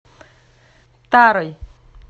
тарой